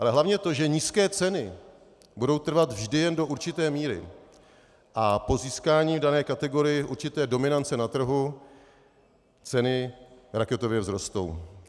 Ale hlavně to, že nízké ceny budou trvat vždy jen do určité míry a po získání v dané kategorii určité dominance na trhu ceny raketově vzrostou.